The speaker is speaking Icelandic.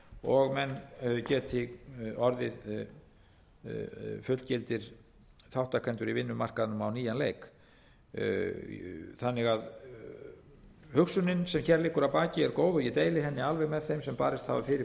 og menn geti orðið fullgildir þátttakendur í vinnumarkaðnum á nýjan leik hugsunin sem hér liggur að baki er því góð og ég deili henni alveg með þeim sem barist hafa fyrir